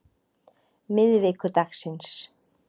miðvikudagsins